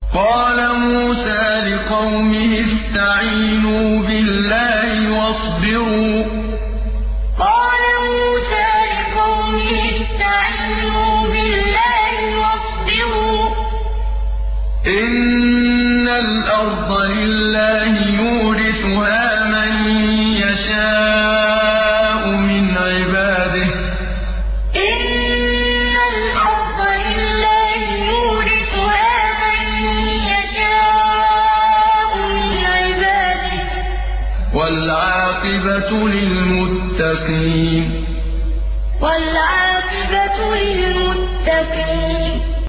قَالَ مُوسَىٰ لِقَوْمِهِ اسْتَعِينُوا بِاللَّهِ وَاصْبِرُوا ۖ إِنَّ الْأَرْضَ لِلَّهِ يُورِثُهَا مَن يَشَاءُ مِنْ عِبَادِهِ ۖ وَالْعَاقِبَةُ لِلْمُتَّقِينَ قَالَ مُوسَىٰ لِقَوْمِهِ اسْتَعِينُوا بِاللَّهِ وَاصْبِرُوا ۖ إِنَّ الْأَرْضَ لِلَّهِ يُورِثُهَا مَن يَشَاءُ مِنْ عِبَادِهِ ۖ وَالْعَاقِبَةُ لِلْمُتَّقِينَ